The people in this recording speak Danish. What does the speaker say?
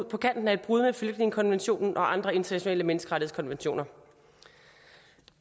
på kanten af et brud med flygtningekonventionen og andre internationale menneskerettighedskonventioner